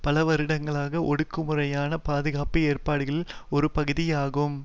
பல வருடங்களாக ஒடுக்குமுறையான பாதுகாப்பு ஏற்படுகளின் ஒரு பகுதியாகும்